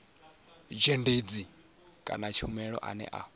dzhendedzi kana tshumelo ane a